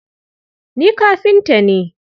Ni kafinta ne.